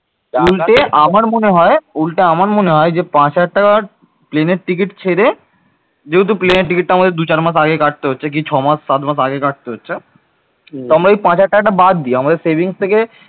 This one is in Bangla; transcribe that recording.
উল্টে আমার মনে হয় উল্টে আমার মনে হয় যে পাঁচ হাজার টাকার প্লেনের টিকিট ছেড়ে যেহেতু প্লেনের টিকিটটা আমাদের দু চার মাস আগে কাটতে হচ্ছে কি ছমাস সাত মাস আগে কাটতে হচ্ছে তো আমরা ওই পাঁচ হাজার টাকাটা বাদ দিই। আমাদের savings থেকে